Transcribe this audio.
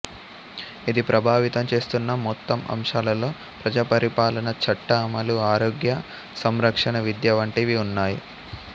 ఇది ప్రభావితం చేస్తున్న మొత్తం అంశాలలో ప్రజా పరిపాలన చట్ట అమలు ఆరోగ్య సంరక్షణ విద్య వంటివి ఉన్నాయి